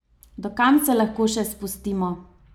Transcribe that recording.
Do kam se lahko še spustimo?